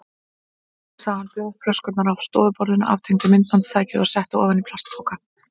Svo hreinsaði hann bjórflöskurnar af stofuborðinu, aftengdi myndbandstækið og setti ofan í plastpoka.